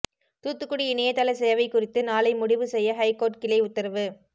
தூத்துக்குடி இணையதள சேவை குறித்து நாளை முடிவு செய்ய ஹைகோர்ட் கிளை உத்தரவு